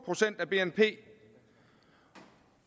procent af bnp